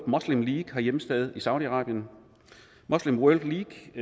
league har hjemsted i saudi arabien muslim world league